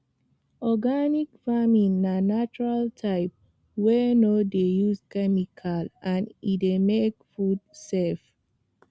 organic farming na natural type wey no dey use chemicals and e dey make food safe